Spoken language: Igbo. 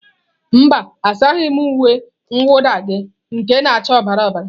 Mba, asaghị m uwe mwụda gị nke na acha ọbara ọbara